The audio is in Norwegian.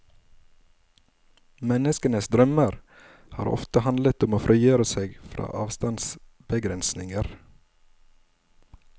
Menneskenes drømmer har ofte handlet om å frigjøre seg fra avstandsbegrensninger.